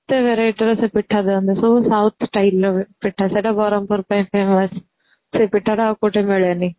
କେତେ variety ର ସେ ପିଠା ଦିଅନ୍ତୁ ସବୁ south styleର ପିଠା ସେଇଟା ବରମପୁର ପାଇଁ famous ସେ ପିଠାଟା ଆଉ କୋଉଠି ମିଳେନି